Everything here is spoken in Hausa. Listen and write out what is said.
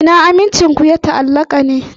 Ina amincin ku ya ta'allaka ne?